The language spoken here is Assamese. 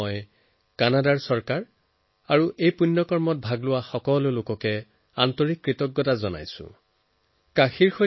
মই কানাডা চৰকাৰ আৰু এই মহান ব্যক্তিসকলৰ প্ৰতি কৃতজ্ঞতা প্ৰকাশ কৰিছো যাৰবাবে এই কাম সমাধা হল